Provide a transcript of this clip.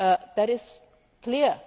That is clear